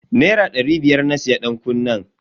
Naira dari biyar na siya dankunnen.